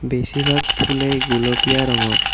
বেছিভাগ ফুলেই গুলপীয়া ৰঙৰ।